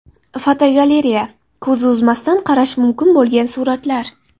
Fotogalereya: Ko‘z uzmasdan qarash mumkin bo‘lgan suratlar.